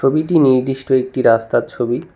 ছবিটি নির্দিষ্ট একটি রাস্তার ছবি।